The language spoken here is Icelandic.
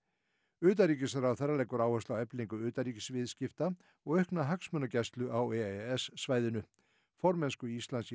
utanríkisráðherra leggur áherslu á eflingu utanríkisviðskipta og aukna hagsmunagæslu á e e s svæðinu formennsku Íslands í